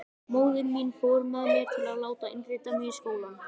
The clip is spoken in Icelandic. Móðir mín fór með mér til að láta innrita mig í skólann.